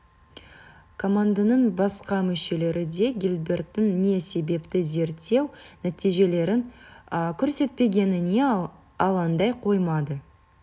команданың басқа мүшелері де гилберттің не себепті зерттеу нәтижелерін көрсетпегеніне алаңдай қоймады